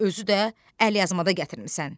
Özü də əlyazmada gətirmisən.